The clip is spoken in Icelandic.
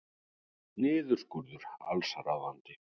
Niðurskurður allsráðandi